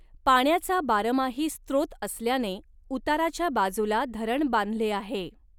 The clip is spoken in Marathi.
पाण्याचा बारमाही स्त्रोत असल्याने उताराच्या बाजूला धरण बांधले आहे.